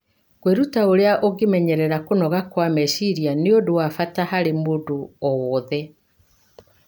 Kwĩruta ũrĩa ũngĩmenyerera kũnoga kwa meciria nĩ ũndũ wa bata harĩ mũndũ owothe.